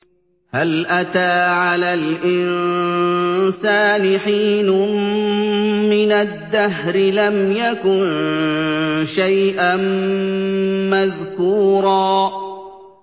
هَلْ أَتَىٰ عَلَى الْإِنسَانِ حِينٌ مِّنَ الدَّهْرِ لَمْ يَكُن شَيْئًا مَّذْكُورًا